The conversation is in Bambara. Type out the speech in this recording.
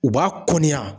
U b'a kɔnni ya